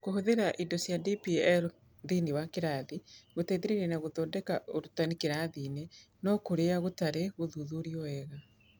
Kũhũthĩra indo cia DPL thĩinĩ wa kĩrathi gũteithĩrĩria na gũthondeka ũrutani kĩrathi-inĩ no kĩũria kĩtarĩ gĩthuthurwo wega.